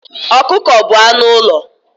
Ọkụkọ bụ anụ ụlọ